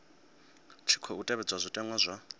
tshi khou tevhedzwa zwitenwa zwa